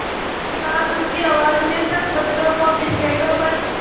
उसके बाद ऊँची आवाज़ में सब बच्चों को अपनी स्लेटों पर